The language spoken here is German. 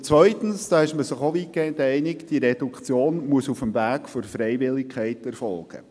Andererseits, da ist man sich weitgehend einig, muss die Reduktion auf dem Weg der Freiwilligkeit erfolgen.